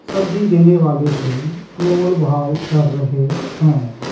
सब्जी देने वाले से मोल-भाव कर रहे है।